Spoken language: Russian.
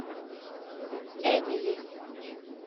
эмили